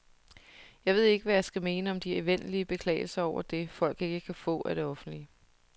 Jeg ved ikke, hvad jeg skal mene om de evindelige beklagelser over det, folk ikke kan få af det offentlige.